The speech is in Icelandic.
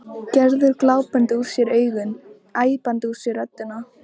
Gerður glápandi úr sér augun, æpandi úr sér röddina.